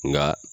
Nka